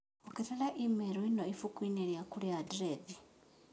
ongerera i-mīrū ĩno ibuku-inĩ rĩakwa rĩa andirethi